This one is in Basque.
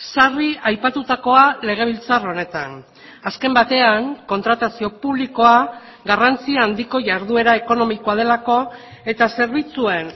sarri aipatutakoa legebiltzar honetan azken batean kontratazio publikoa garrantzi handiko jarduera ekonomikoa delako eta zerbitzuen